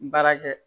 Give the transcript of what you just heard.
Baara kɛ